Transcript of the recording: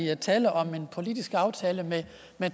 er tale om en politisk aftale med